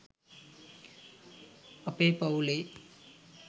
අපේ පවුලෙ